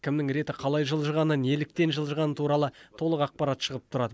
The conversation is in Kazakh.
кімнің реті қалай жылжығаны неліктен жылжығаны туралы толық ақпарат шығып тұрады